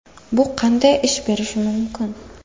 Bu qanday ish berishi mumkin?